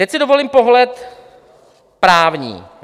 Teď si dovolím pohled právní.